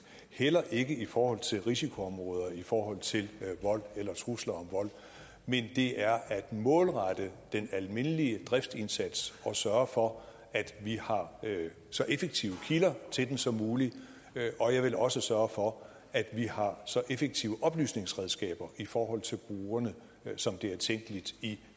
heller ikke i forhold til risikoområder i forhold til vold eller trusler om vold men det er at målrette den almindelige driftindsats og sørge for at vi har så effektive kilder til den som muligt og jeg vil også sørge for at vi har så effektive oplysningsredskaber i forhold til brugerne som det er tænkeligt i